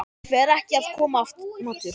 Fer ekki að koma matur?